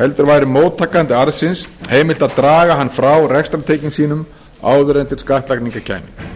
heldur væri móttakanda arðsins heimilt að draga hann frá rekstrartekjum sínum áður en til skattlagningar kæmi